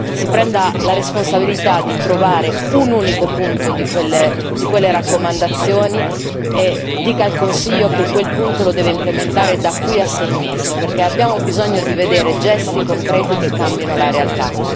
Si prenda la responsabilità di trovare un unico punto di quelle raccomandazioni e dica al Consiglio che quel punto lo deve implementare da qui a sei mesi, perché abbiamo bisogno di vedere gesti concreti che cambino la realtà.